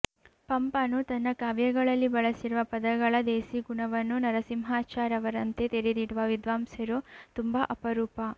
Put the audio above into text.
ಪಂಪನು ತನ್ನ ಕಾವ್ಯಗಳಲ್ಲಿ ಬಳಸಿರುವ ಪದಗಳ ದೇಸಿಗುಣವನ್ನು ನರಸಿಂಹಾಚಾರ್ ಅವರಂತೆ ತೆರೆದಿಡುವ ವಿದ್ವಾಂಸರು ತುಂಬ ಅಪರೂಪ